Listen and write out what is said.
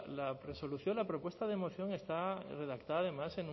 la resolución la propuesta de moción está redactada además